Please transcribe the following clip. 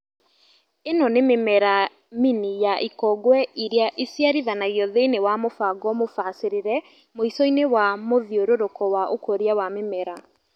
ĩno nĩ mĩmera mini ya ikongwe iria ĩciarithanagio thĩinĩ wa mũbanga mũbacĩrĩre mũico -inĩ wa mũthiũrũrũko wa ũkũria wa mĩmera